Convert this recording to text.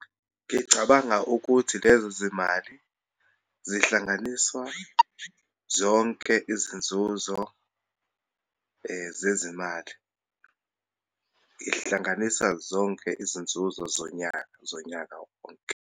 Ngicabanga ukuthi lezi zimali zihlanganiswa zonke izinzuzo zezimali. Ihlanganisa zonke izinzuzo zonyaka, zonyaka wonke.